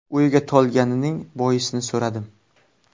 O‘yga tolganining boisini so‘radim.